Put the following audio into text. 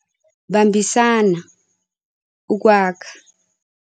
Bambisana ukwakha.